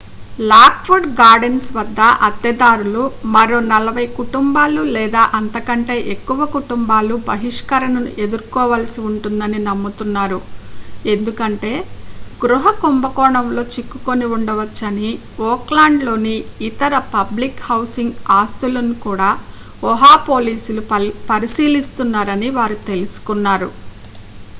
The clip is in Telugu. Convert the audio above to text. లాక్వుడ్ గార్డెన్స్ వద్ద అద్దెదారులు మరో 40 కుటుంబాలు లేదా అంతకంటే ఎక్కువ కుటుంబాలు బహిష్కరణను ఎదుర్కోవలసి ఉంటుందని నమ్ముతున్నారు ఎందుకంటే గృహ కుంభకోణంలో చిక్కుకుని ఉండవచ్చని ఓక్లాండ్ లోని ఇతర పబ్లిక్ హౌసింగ్ ఆస్తులను కూడా ఒహ పోలీసులు పరిశీలిస్తున్నారని వారు తెలుసుకున్నారు